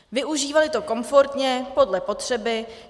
Využívali to komfortně podle potřeby.